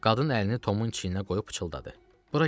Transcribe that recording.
Qadın əlini Tomun çiyninə qoyub pıçıldadı.